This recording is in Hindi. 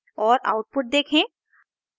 और आउटपुट देखें